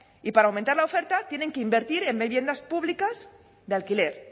y para aumentar la oferta tienen que invertir en viviendas públicas de alquiler